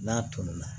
N'a tolila